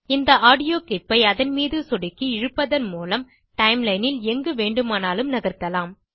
இந்த audio clip ஐ அதன் மீது சொடுக்கி இழுப்பதன் மூலம் டைம்லைன் ல் எங்கு வேண்டுமானாலும் நகர்த்தலாம்